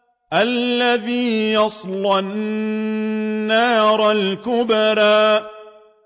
الَّذِي يَصْلَى النَّارَ الْكُبْرَىٰ